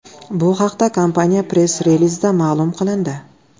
Bu haqda kompaniya press-relizida ma’lum qilindi.